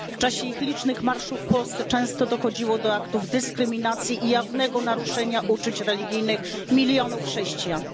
W czasie ich licznych marszów w Polsce często dochodziło do aktów dyskryminacji i jawnego naruszenia uczuć religijnych milionów chrześcijan.